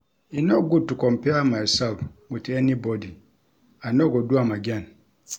E no good to compare mysef wit anybody, I no go do am again.